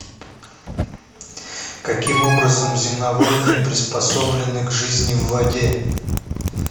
каким образом земноводные приспособлены к жизни в воде